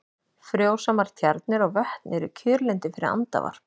Frjósamar tjarnir og vötn eru kjörlendi fyrir andavarp.